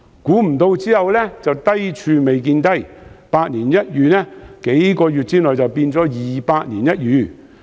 不料低處未見低，百年一遇的情況，數月後變成二百年一遇。